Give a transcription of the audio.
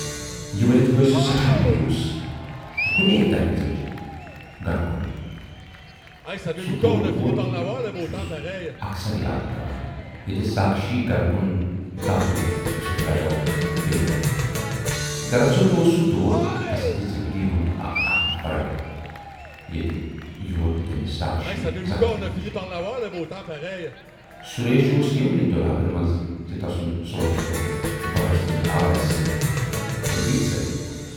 یہِ ؤنِتھ گٔیہِ سۅ سٮ۪ٹھاہ مویوٗس تہٕ کُنی دَوِ ژٔج گرٕ کُن۔ سُہ دُ ووت چھُس اکثر یاد پٮ۪وان ییتہِ ساکھشی گرٕ کُن دَو تُج تہٕ سُہ درایاو بییہِ وتہِ۔ دراصل اوس سُے دُ ووت تسٕندِ زِندگی ہُند اکھ اہم پڑاو۔ ییتہِ یور نہٕ تَس ساکھشی زانہہ تہِ میٖج۔ سُریش اوس یِمنٕے دۅلابن منز زِ تسُند سونچ پھُٹ بہرٕ سٕنزِ آوازِ سٍتۍرِپیٖٹ سر"۔